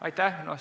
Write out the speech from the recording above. Aitäh!